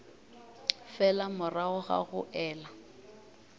fela morago ga go ela